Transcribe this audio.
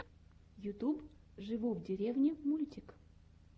ютьюб живу в деревне мультик